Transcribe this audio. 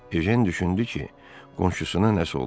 Ejen düşündü ki, qonşusuna nəsə olub.